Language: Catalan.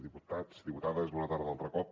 diputats diputades bona tarda altre cop